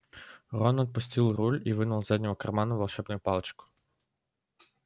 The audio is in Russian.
рон отпустил руль и вынул из заднего кармана волшебную палочку